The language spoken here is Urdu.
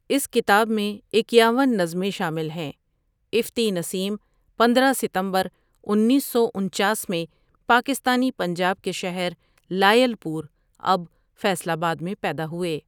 اس کتاب میں اکیاون نظمیں شامل ہیں افتی نسیم پندرہ ستمبر انیس سو انچاس میں پاکستانی پنجاب کے شہر لائل پور اب فیصل آباد میں پیدا ہوئے ۔